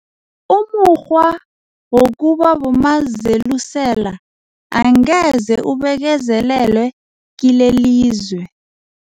Umukghwa wokuba bomazelusela angeze ubekezelelwe kilelilizwe.